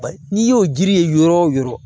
Ba n'i y'o jiri ye yɔrɔ wo yɔrɔ